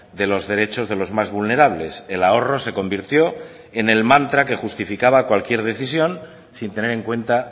de los derechos de los más vulnerables el ahorro se convirtió en el mantra que justificaba cualquier decisión sin tener en cuenta